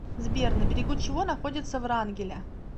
сбер на берегу чего находится врангеля